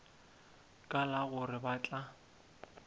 ka la gore ba tla